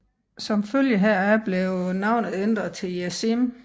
Som følge heraf blev navnet ændret til Jesseim